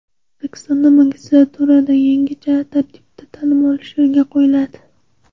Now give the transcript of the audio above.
O‘zbekistonda magistraturada yangicha tartibda ta’lim olish yo‘lga qo‘yiladi.